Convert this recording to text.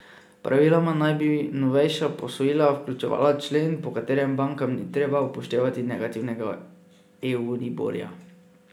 Praviloma naj bi novejša posojila vključevala člen, po katerem bankam ni treba upoštevati negativnega euriborja.